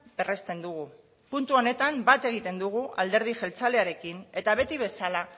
berresten dugu puntu honetan bat egiten dugu alderdi jeltzalearekin eta beti bezala